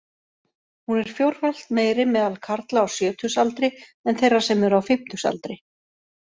Hún er fjórfalt meiri meðal karla á sjötugsaldri en þeirra sem eru á fimmtugsaldri.